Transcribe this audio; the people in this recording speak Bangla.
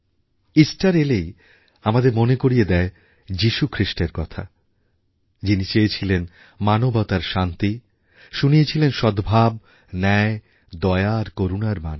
ইস্টার এলেই আমাদের মনে করি য়ে দেয় যীশু খ্রীষ্টের কথা যিনি চেয়েছিলেন মানবতার শান্তি শুনিয়েছিলেন সদ্ভাব ন্যায় দয়া আর করুণারবাণী